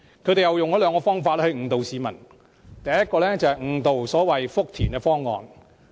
他們用了兩個方法誤導市民，第一個是誤導所謂福田口岸的方案。